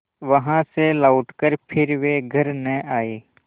वहाँ से लौटकर फिर वे घर न आये